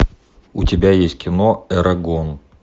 у тебя есть кино эрагон